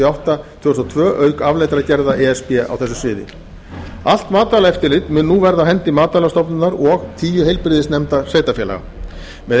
átta tvö þúsund og tvö auk afleiddra gerða e s b á þessu sviði allt matvælaeftirlit mun nú verða á hendi matvælastofnunar og tíu heilbrigðisnefnda sveitarfélaga með